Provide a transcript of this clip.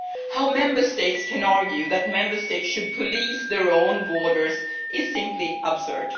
How Member States can argue that Member States should police their own borders is simply absurd.